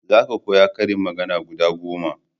za ka koya ƙarin magana guda goma!